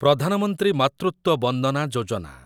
Pradhan Mantri Matritva Vandana Yojana